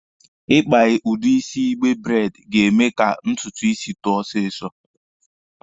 Ị kpa udi isi igbe braidi ga-eme ka ntutu isi too ọsịsọ.